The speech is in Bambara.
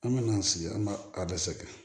An bɛna sigi an b'a a bɛ sɛgɛn